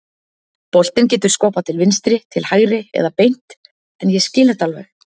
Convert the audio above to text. Boltinn getur skoppað til vinstri, til hægri eða beint en ég skil þetta alveg.